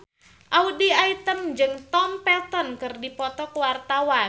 Audy Item jeung Tom Felton keur dipoto ku wartawan